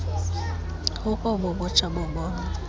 kukobu butsha bobomi